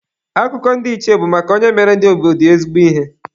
Akụkọ ndị ichie bụ maka onye mere ndi obodo ya ezigbo ihe.